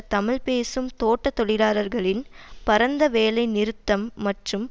தமிழ் பேசும் தோட்ட தொழிலாளர்களின் பரந்த வேலை நிறுத்தம் மற்றும்